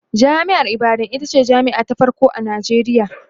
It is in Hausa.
jami'ar ibadan itace jami'a ta farko a Nijeriya